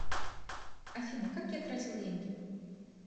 афина как я тратил деньги